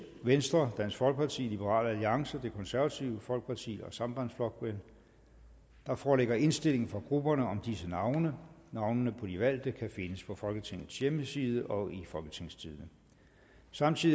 venstre dansk folkeparti liberal alliance det konservative folkeparti og sambandsflokkurin der foreligger indstilling fra grupperne om disse navne navnene på de valgte kan findes på folketingets hjemmeside og i folketingstidende samtidig